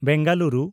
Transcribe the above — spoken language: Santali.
ᱵᱮᱝᱜᱟᱞᱩᱨᱩ